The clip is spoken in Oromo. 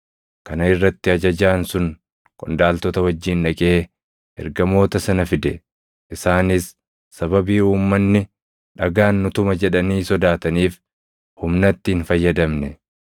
Kana irratti ajajaan sun qondaaltota wajjin dhaqee ergamoota sana fide; isaanis sababii uummanni dhagaan nu tuma jedhanii sodaataniif humnatti hin fayyadamne.